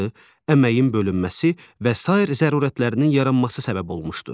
əməyin bölünməsi və sair zərurətlərinin yaranması səbəb olmuşdur.